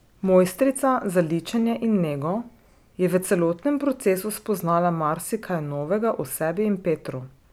Mojstrica za ličenje in nego je v celotnem procesu spoznala marsikaj novega o sebi in Petru.